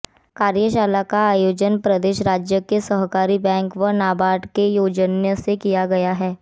कार्यशाला का आयोजन प्रदेश राज्य सहकारी बैंक व नाबार्ड के सौजन्य से किया गया